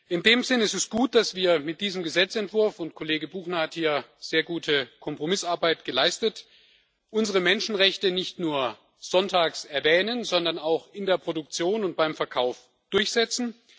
In diesem Sinne es ist gut, dass wir mit diesem Gesetzentwurf Kollege Buchner hat hier sehr gute Kompromissarbeit geleistet unsere Menschenrechte nicht nur sonntags erwähnen, sondern auch in der Produktion und beim Verkauf durchsetzen.